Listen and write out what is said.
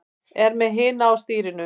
Er með hina á stýrinu.